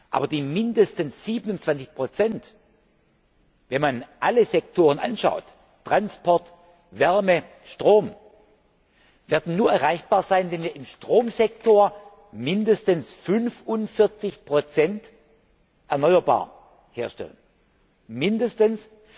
Aber mindestens 27 wenn man alle Sektoren anschaut Transport, Wärme, Strom werden nur erreichbar sein, wenn wir im Stromsektor mindestens 45 erneuerbare Energie herstellen mindestens